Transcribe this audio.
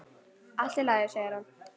Allt í lagi, segir hann.